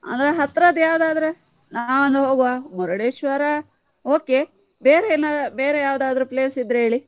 ಅಂದ್ರೆ ಹತ್ರದ್ದು ಯಾವ್ದಾದ್ರು ನಾವ್ವೊಂದು ಹೋಗುವ, Murudeshwara okay ಬೇರೆ ಏನಾದ್ರೂ ಬೇರೆ ಯಾವ್ದಾದ್ರು place ಇದ್ರೆ ಹೇಳಿ.